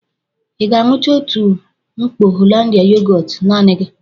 Ị ga-aṅucha otu mkpọ Hollandia yogọọtu naanị gị?